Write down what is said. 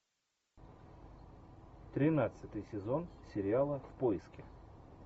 тринадцатый сезон сериала в поиске